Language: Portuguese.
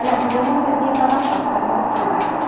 Aliás, não deu nem nem para baixar, porque estava na altura.